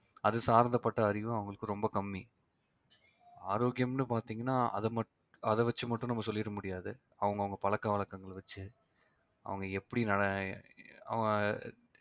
அது சார்ந்த பட்ட அறிவு அவங்களுக்கு ரொம்ப கம்மி ஆரோக்கியம்னு பாத்தீங்கன்னா மட்~ அதை வச்சு மட்டும் நம்ம சொல்லிட முடியாது அவங்கவங்க பழக்க வழக்கங்களை வச்சு அவங்க எப்படி